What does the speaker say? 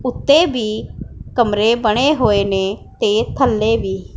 ਓੱਤੇ ਵੀ ਕਮਰੇ ਬਣੇ ਹੋਏ ਨੇਂ ਤੇ ਥੱਲੇ ਵੀ।